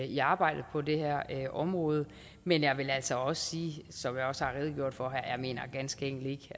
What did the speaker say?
i arbejdet på det her område men jeg vil altså også sige som jeg også har redegjort for her at jeg ganske enkelt ikke